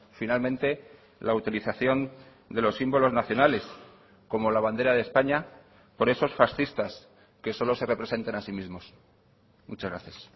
finalmente la utilización de los símbolos nacionales como la bandera de españa por esos fascistas que solo se representan a sí mismos muchas gracias